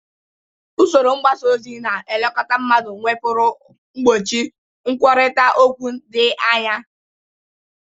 Usoro mgbasa ozi na-elekọta mmadụ nwepuru mgbochi nkwurịta okwu dị anya.